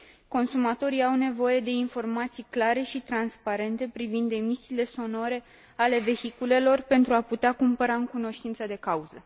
Consumatorii au nevoie de informații clare și transparente privind emisiile sonore ale vehiculelor pentru a putea cumpăra în cunoștință de cauză.